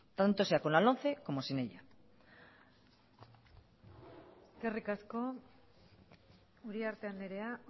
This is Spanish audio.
tanto sea con la lomce como sin ella eskerrik asko uriarte andrea